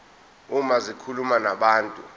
uma zikhuluma nabantu